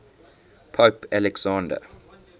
pope alexander